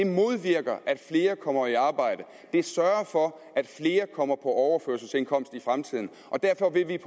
modvirker at flere kommer i arbejde det sørger for at flere kommer på overførselsindkomst i fremtiden og derfor vil vi